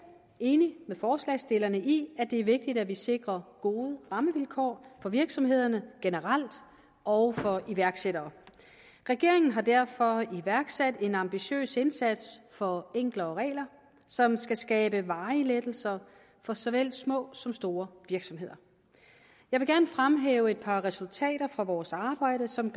enig med forslagsstillerne i at det er vigtigt at vi sikrer gode rammevilkår for virksomhederne generelt og for iværksættere regeringen har derfor iværksat en ambitiøs indsats for enklere regler som skal skabe varige lettelser for såvel små som store virksomheder jeg vil gerne fremhæve et par resultater fra vores arbejde som